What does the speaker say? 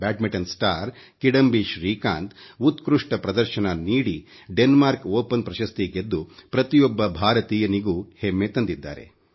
badminton star Kidambi Srikanth ಉತ್ಕೃಷ್ಟ ಪ್ರದರ್ಶನ ನೀಡಿ ಡೆನ್ಮಾರ್ಕ್ ಓಪನ್ ಪ್ರಶಸ್ತಿಗೆದ್ದು ಪ್ರತಿಯೊಬ್ಬ ಭಾರತೀಯರಿಗೂ ಹೆಮ್ಮೆ ತಂದಿದ್ದಾರೆ